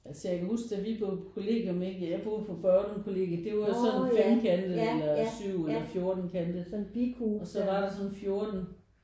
Altså jeg kan huske da vi boede på kollegium ikke jeg boede på Børglum Kollegiet det var jo sådan femkantet eller 7 eller 14-kantet og så var der sådan 14